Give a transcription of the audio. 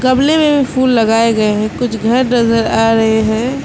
गमले में भी फूल लगाए गए हैं कुछ घर नजर आ रहे हैं।